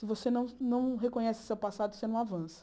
Se você não não reconhece o seu passado, você não avança.